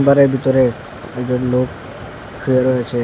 ঘরের ভিতরে একজন লোক শুয়ে রয়েছে।